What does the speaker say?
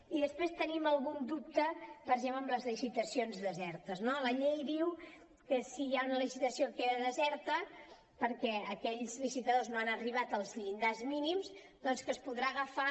i després tenim algun dubte per exemple amb les licitacions desertes no la llei diu que si hi ha una licitació que queda deserta perquè aquells licitadors no han arribat als llindars mínims doncs que es podrà agafar